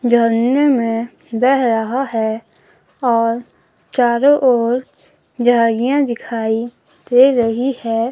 झरने में बह रहा है और चारों ओर झाड़ियां दिखाई दे रही है।